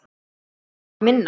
Sölvi: Minna?